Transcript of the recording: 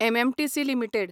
MMTC limited